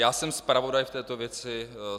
Já jsem zpravodaj v této věci.